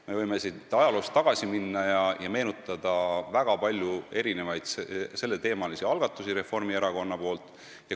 Me võime siin ajaloos tagasi minna ja meenutada väga palju Reformierakonna selleteemalisi algatusi.